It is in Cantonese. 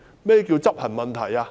何謂執行問題？